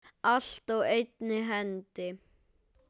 Allt á einni hendi.